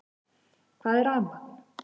Hvað er rafmagn?